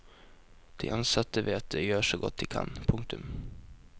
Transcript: De ansatte vet at de gjør så godt de kan. punktum